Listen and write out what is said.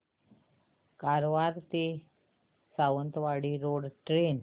कारवार ते Sawantwadi road train